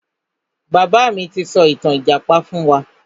Bàbá mi ti sọ ìtàn ìjàpá fún wa.